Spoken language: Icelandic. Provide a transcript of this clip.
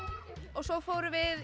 og svo vorum við